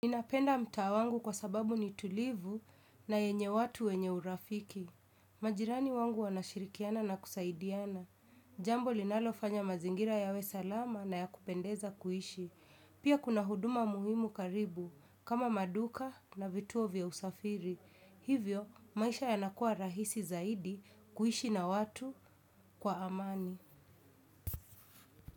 Ninapenda mtaa wangu kwa sababu ni tulivu na yenye watu wenye urafiki. Majirani wangu wanashirikiana na kusaidiana. Jambo linalofanya mazingira yawe salama na ya kupendeza kuishi. Pia kuna huduma muhimu karibu kama maduka na vituo vya usafiri. Hivyo, maisha yanakuwa rahisi zaidi kuishi na watu kwa amani.